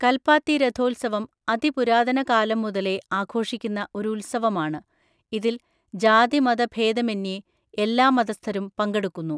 കൽപ്പാത്തി രഥോത്സവം അതിപുരാതന കാലം മുതലേ ആഘോഷിക്കുന്ന ഒരു ഉത്സവമാണ്. ഇതിൽ ജാതിമതഭേദമന്യേ എല്ലാ മതസ്ഥരും പങ്കെടുക്കുന്നു.